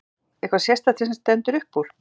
Magnús: Eitthvað sérstakt sem stendur upp úr?